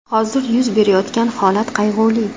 Hozir yuz berayotgan holat qayg‘uli.